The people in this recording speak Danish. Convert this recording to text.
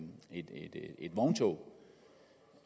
vogntog